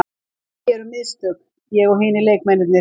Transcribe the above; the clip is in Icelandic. Við gerðum mistök, ég og hinir leikmennirnir.